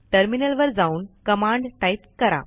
terminal वर जाऊन command type करा